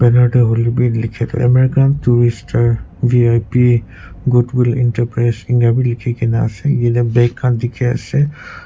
banner te hoile bhi likhe American tourister vip goodwill enterprise eninka bhi likhe kina ase jatte bag khan dekhi ase.